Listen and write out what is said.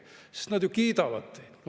Loomulikult nad ju kiidavad teid.